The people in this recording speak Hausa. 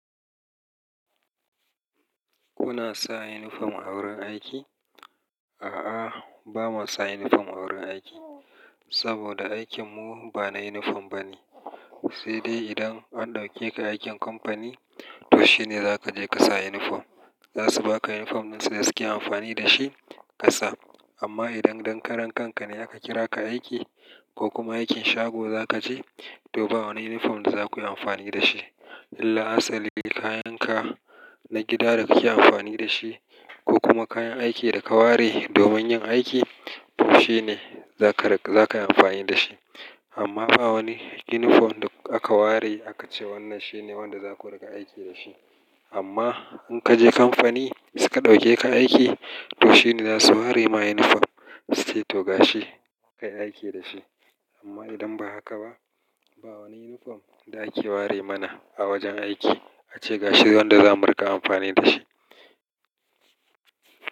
Kuna sa uniform a wurin aiki? A'a, ba mu sa uniform a wurin aiki. Saboda aikin mu ba na uniform bane. Sai dai idan an ɗauke ka aikin kamfani, to shine za ka je ka sa uniform. Za su ba ka uniform din su da suke amfani da shi ka sa. Amma idan dankaran ka ne aka kira ka aiki ko kuma aikin shago za ka je, to ba wani uniform da za ku yi amfani da shi. Illa asali kayan ka na gida da kake amfani da shi ko kuma kayan aiki da ka ware domin yin aiki, to shine za ka, za ka yi amfani da shi. Amma ba wani uniform da aka ware aka ce wannan shine wanda za ku riƙa aiki da shi. Amma in ka je kamfani suka ɗauke ka aiki, to shine za su ware ma uniform su ce to ga shi ka yi aiki da shi. Amma idan ba haka ba, ba wani uniform da ake ware mana a wajen aiki ace ga shi wanda za mu riƙa amfani da shi.